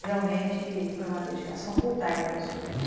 Realmente foi uma dedicação full-time para os filhos.